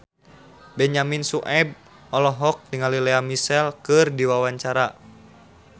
Benyamin Sueb olohok ningali Lea Michele keur diwawancara